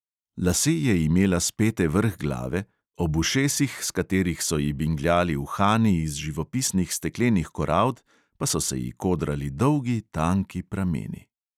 Lase je imela spete vrh glave, ob ušesih, s katerih so ji bingljali uhani iz živopisnih steklenih korald, pa so se ji kodrali dolgi, tanki prameni.